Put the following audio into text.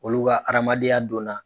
Olu ka adamadenya donna